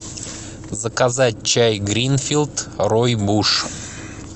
заказать чай гринфилд ройбуш